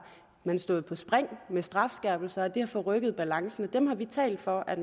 man stået på spring med strafskærpelser og det har forrykket balancen og dem har vi talt for at